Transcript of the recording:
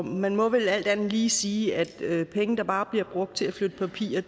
man må vel alt andet lige sige at penge der bare bliver brugt til at flytte papirer